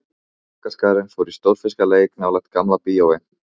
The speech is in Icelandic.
Krakkaskarinn fór í stórfiskaleik nálægt Gamla bíói.